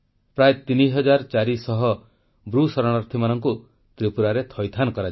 ପ୍ରାୟ 3400 ବ୍ରୁ ରିୟାଙ୍ଗ ଶରଣାର୍ଥୀଙ୍କୁ ତ୍ରିପୁରାରେ ଥଇଥାନ କରାଯିବ